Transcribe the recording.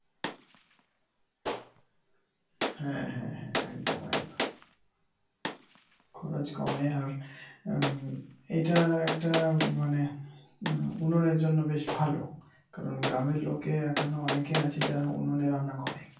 হ্যা, হ্যাঁ, হ্যাঁ একদম একদম খরচ কমে আর উম এইটা একটা মানে উনুনের জন্য বেশ ভালো, কারন গ্রামে্র লোকে এখনো অনেকে আছে যারা উনুনে রান্না করে।